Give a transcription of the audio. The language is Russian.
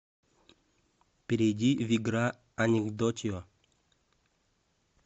перейди в игра анекдотио